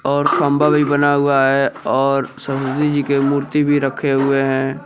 और खंभा भी बना हुआ है और सरस्वती जी के मूर्ति भी रखे हुए हैं।